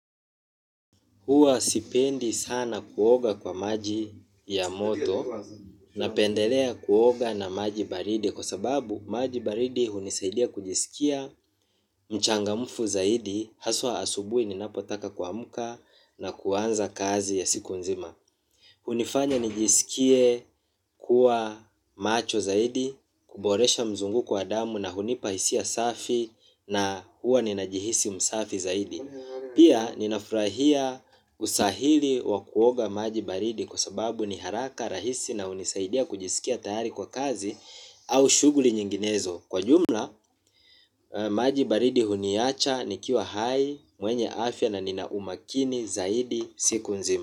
Huwa sipendi sana kuoga kwa maji ya moto napendelea kuoga na maji baridi kwa sababu maji baridi hunisaidia kujisikia mchangamfu zaidi haswa asubuhi ninapotaka kuamka na kuanza kazi ya siku nzima. Hunifanya nijisikie kuwa macho zaidi, kuboresha mzunguko wa damu na hunipa hisia safi na huwa ninajihisi msafi zaidi. Pia ninafurahia usahili wa kuoga maji baridi kwa sababu ni haraka rahisi na unisaidia kujisikia tayari kwa kazi au shuguli nyinginezo. Kwa jumla, maji baridi huniacha nikiwa hai, mwenye afya na ninaumakini zaidi siku nzima.